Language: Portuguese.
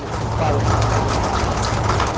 Eu paro aqui no meio da minha vida.